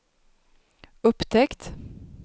upptäckt